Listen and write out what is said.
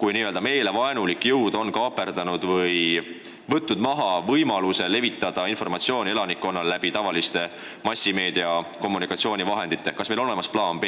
kui meile vaenulik jõud on läbi lõiganud võimaluse levitada elanikkonnale informatsiooni tavaliste massimeediavahendite kaudu?